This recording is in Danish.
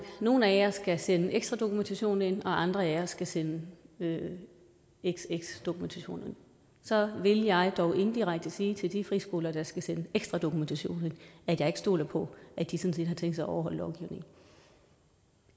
nogle af jer skal sende ekstra dokumentation ind og andre af jer skal sende xx dokumentation ind så ville jeg dog indirekte sige til de friskoler der skal sende ekstra dokumentation ind at jeg ikke stoler på at de sådan set har tænkt sig at overholde lovgivningen